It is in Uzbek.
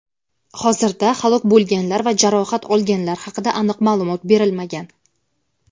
Hozirda halok bo‘lganlar va jarohat olganlar haqida aniq ma’lumot berilmagan.